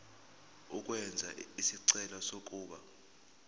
ukwenza isicelo sokuba